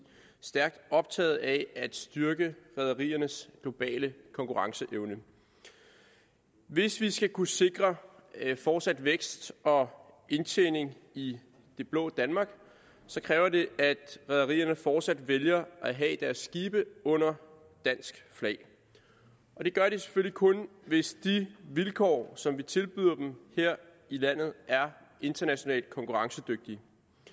stærkt optaget af at styrke rederiernes globale konkurrenceevne hvis vi skal kunne sikre fortsat vækst og indtjening i det blå danmark kræver det at rederierne fortsat vælger at have deres skibe under dansk flag det gør de selvfølgelig kun hvis de vilkår som vi tilbyder dem her i landet er internationalt konkurrencedygtige